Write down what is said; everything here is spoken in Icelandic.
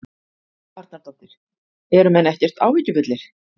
Helga Arnardóttir: Eru menn ekkert áhyggjufullir?